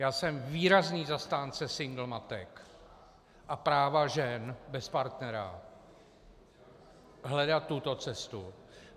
Já jsem výrazný zastánce single matek a práva žen bez partnera hledat tuto cestu.